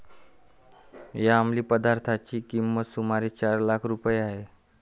या अमलीपदार्थाची किंमत सुमारे चार लाख रुपये आहे.